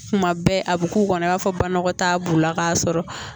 Kuma bɛɛ a bɛ k'u kɔnɔ i b'a fɔ banamɔgɔ t'a b'u la k'a sɔrɔ